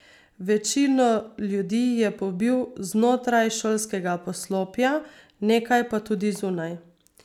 Večino ljudi je pobil znotraj šolskega poslopja, nekaj pa tudi zunaj.